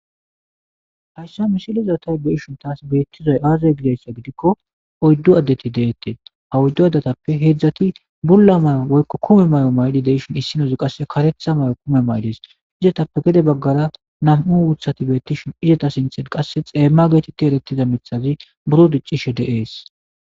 hayssa misilizatay beishon taas beettizoy aazay gidessa gidikko oyddu addeti deette hawuddu adatappe heedzdzati bulla may7o woykko kume may7o mayli deishon issinozi qasse karetha may7o kume maylis izetappe gede baggara nam7u wuthati beettishin izeta sinten qasse xeemma geetetti eretida mithazi buro diccishe deees